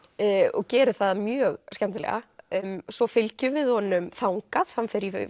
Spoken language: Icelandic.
og gerir það mjög skemmtilega svo fylgjum við honum þangað hann fer í